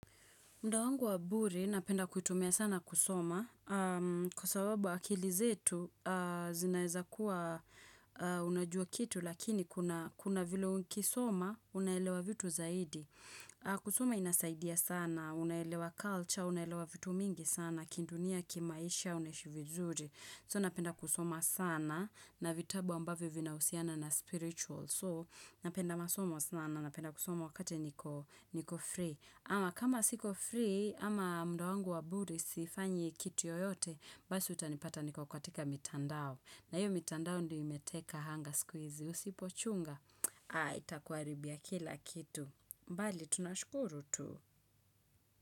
Mda wangu wa bure, napenda kuitumia sana kusoma. Kwa sababu akili zetu, zinaweza kuwa unajua kitu, lakini kuna vile ukiisoma, unaelewa vitu zaidi. Kusoma inasaidia sana, unaelewa culture, unaelewa vitu mingi sana, kindunia, kimaisha, unaishi vizuri. So napenda kusoma sana, na vitabu ambavyo vinahusiana na spiritual. So napenda masomo sana, napenda kusoma wakati niko free. Ama kama siko free, ama mda wangu wa budi sifanyi kitu yoyote, basi utanipata niko katika mitandao. Na hiyo mitandao ndio imeteka hanga siku hizi. Usipo chunga? Haa, itakuaribia kila kitu. Mbali, tunashukuru tu.